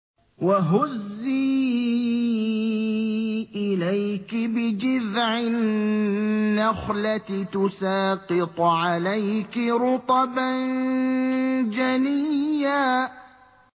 وَهُزِّي إِلَيْكِ بِجِذْعِ النَّخْلَةِ تُسَاقِطْ عَلَيْكِ رُطَبًا جَنِيًّا